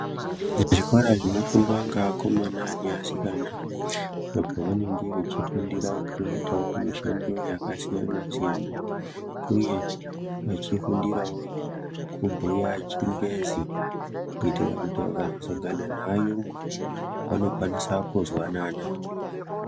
Zvikora zvinofundwa ngeakomana neasikana apo vanenge vechifundirawo kuitawo mishando yakasiyanasiyana uyewo vechiifundirawo kubhuya chiyungu kuite kuti vakazosangana nevayungu vanokwanise kuzwanana.